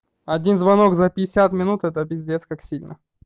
один звонок за пятьдесят минут это пиздец как сильно